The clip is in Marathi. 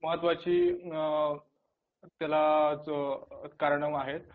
महत्वाची अ त्याला जो कारण आहेतं